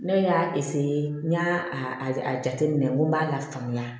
Ne y'a n y'a a jateminɛ n ko n b'a lafaamuya